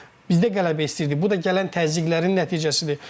Yəni bizdə qələbə istəyirdik, bu da gələn təzyiqlərin nəticəsidir.